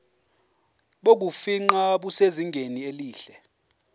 bokufingqa busezingeni elihle